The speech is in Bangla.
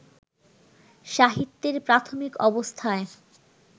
সাহিত্যের প্রাথমিক অবস্থায়